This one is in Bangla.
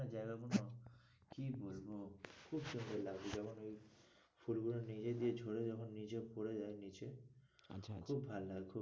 জায়গাগুলো কি বলবো খুব সুন্দর লাগবে যেমন ওই ফুলগুলো নিজে দিয়ে ঝরে যখন নিচে পড়ে যাই নিচে আচ্ছা আচ্ছা খুব ভালো লাগে খুব,